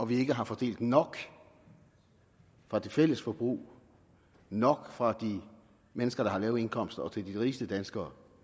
vi ikke har fordelt nok fra det fælles forbrug nok fra de mennesker der har lave indkomster til de rigeste danskere